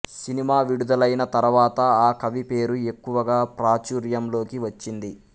cinema విడుదలైన తర్వాత ఆ కవి పేరు ఎక్కువగా ప్రాచూర్యంలోకి వచ్చింది